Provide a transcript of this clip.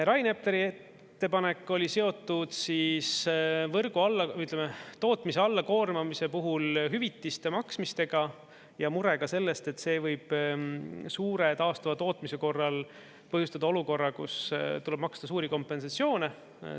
Rain Epleri ettepanek oli seotud võrgu, ütleme, tootmise alla koormamise puhul hüvitiste maksmistega ja murega sellest, et see võib suure taastuva tootmise korral põhjustada olukorra, kus tuleb maksta suuri kompensatsioone.